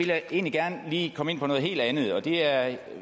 jeg egentlig gerne lige komme ind på noget helt andet og det er at